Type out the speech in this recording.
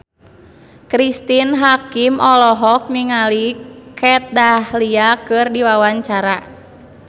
Cristine Hakim olohok ningali Kat Dahlia keur diwawancara